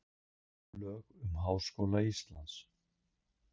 Lög um Háskóla Íslands.